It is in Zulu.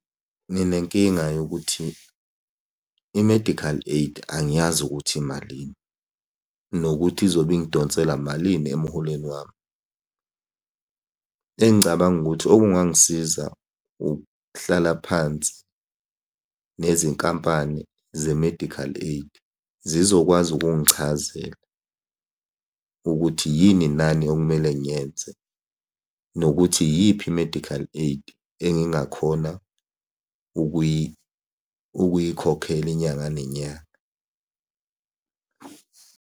Nginenkinga yokuthi i-medical aid angiyazi ukuthi imalini, nokuthi izobe ingidonsela malini emuholweni wami. Engicabanga ukuthi okungangisiza ukuhlala phansi nezinkampani ze-medical aid, zizokwazi ukungichazela ukuthi yini nani okumele ngiyenze. Nokuthi iyiphi i-medical aid engingakhona ukuyikhokhela inyanga nenyanga.